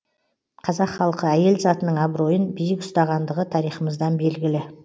қазақ халқы әйел затының абыройын биік ұстағандығы тарихымыздан белгілі